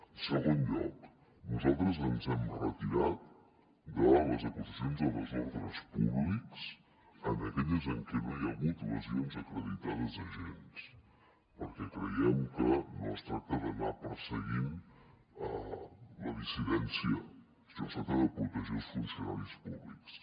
en segon lloc nosaltres ens hem retirat de les acusacions de desordres públics en aquelles en què no hi ha hagut lesions acreditades a agents perquè creiem que no es tracta d’anar perseguint la dissidència sinó de protegir els funcionaris públics